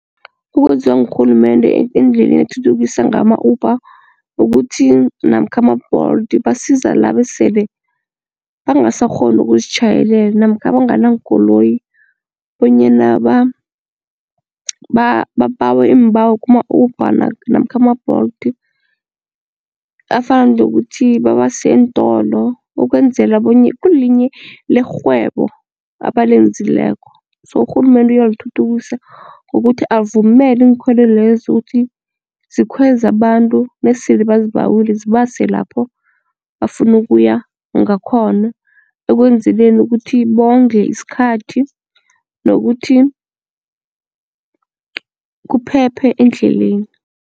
Okwenziwa ngurhulumende endleleni ukuthuthukisa ngama-Uber kukuthi namkha ama-Bolt basiza laba esele bangasakghoni ukuzitjhayelela namkha abangana nkoloyi bonyana babawe iimbawo kuma-Uber namkha ama-Bolt afana nokuthi babase eentolo ukwenzela lerhwebo abalenzileko so urhulumende uyalithuthukisa ngokuthi avumele inkhwelo lezo ukuthi zikhweze abantu nesele bazibawile zibase lapho bafuna ukuya ngakhona ekwenzeleni ukuthi bondle isikhathi nokuthi kuphephe endleleni.